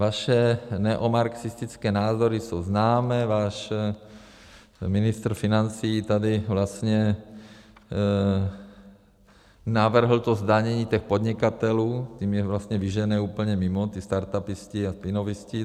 Vaše neomarxistické názory jsou známé, váš ministr financí tady vlastně navrhl to zdanění těch podnikatelů, tím je vlastně vyžene úplně mimo, ty startupisty a inovisty.